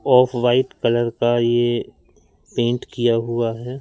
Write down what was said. Of white colour का ये paint किया हुआ है।